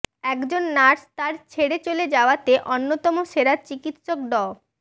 একজন নার্স তাঁর ছেড়ে চলে যাওয়াতে অন্যতম সেরা চিকিৎসক ড